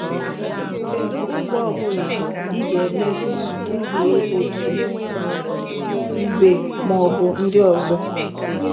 Kedu ụzọ ọ bụla, ị ga-emesị duhie otu ìgwè ma ọ bụ ndị ọzọ.